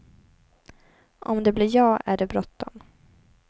Om det blir ja, är det bråttom.